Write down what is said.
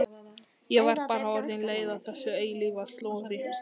Ég var bara orðin leið á þessu eilífa slori.